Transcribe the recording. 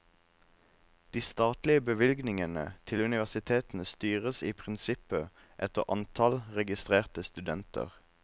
De statlige bevilgningene til universitetene styres i prinsippet etter antall registrerte studenter.